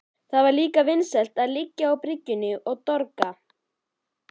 Það var líka vinsælt að liggja á bryggjunni og dorga.